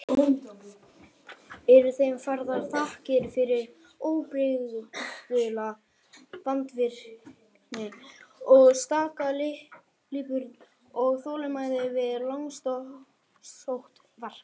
Eru þeim færðar þakkir fyrir óbrigðula vandvirkni og staka lipurð og þolinmæði við langsótt verk.